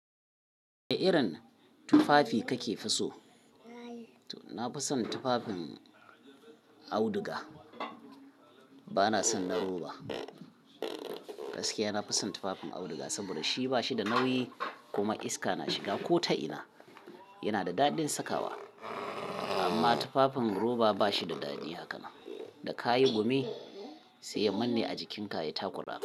Wane irin tufafi kake fi so? Na fi son tufafin auduga, ba na son na roba. Gaskiya na fi son tufafin auduga saboda shi ba shi da nauyi kuma iska na shiga ko ta ina. Yana da daɗin sakawa. Amma tufafin roba ba shi da dadi hakanan. Da ka yi gumi sai ya manne a jikinka ya takura.